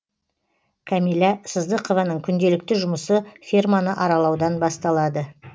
кәмила сыздықованың күнделікті жұмысы ферманы аралаудан басталады